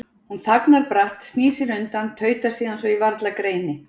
Hún þagnar bratt, snýr sér undan, tautar síðan svo ég varla greini